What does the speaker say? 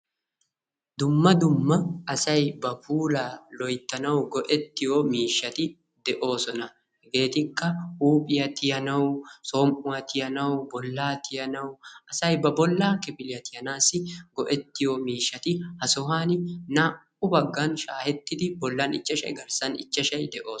Dumma dumma asay ba puula loyttanaw go"ettiyo miishshati de'oosona. Hegetikka huuphiyaa tiyyanaw, som"uwa tiyyanaw, bolla tiyyanaw, asay ba bolla kifiliya tiyyaanassi go"ettiyo miishshati ha sohuwan naa"u baggan shaahettidi bollan ichchashshay garssan ichchashshay de'oosona.